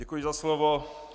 Děkuji za slovo.